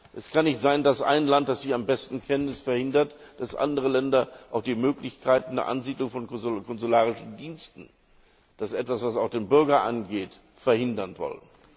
Es kann nicht sein, dass ein Land, das Sie am besten kennen, es verhindert, dass andere Länder auch die Möglichkeit einer Ansiedlung von konsularischen Diensten das ist etwas, was auch dem Bürger angeht verhindern wollen.